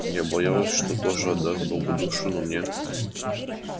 я боялась что тоже отдаст богу душу но мне